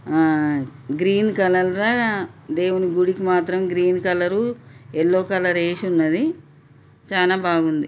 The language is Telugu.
ఆ గ్రీన్ కలర్ ల దేవుని గుడికి మాత్రం గ్రీన్ కలర్ యెల్లో కలర్ ఎసి ఉన్నది చానా బాగుంది.